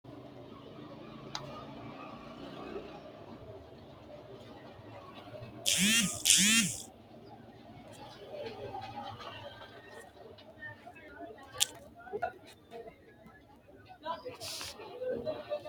Misile aana la’inihu jaddo agadhinanni koffiya wodhineemmo qarqara xawisse Misile aana la’inihu jaddo agadhinanni koffiya wodhineemmo qarqara xawisse Misile aana.